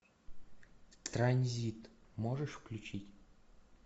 транзит можешь включить